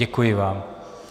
Děkuji vám.